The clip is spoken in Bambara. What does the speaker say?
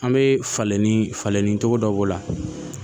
An bɛ falen ni falen ni cogo dɔ b'o la